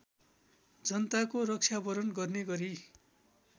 जनताको रक्षावरण गर्ने गरी